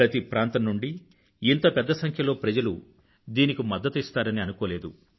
ప్రతి ప్రాంతం నుండీ ఇంత పెద్ద సంఖ్యలో ప్రజలు దీనికి మద్దతునిస్తారని అనుకోలేదు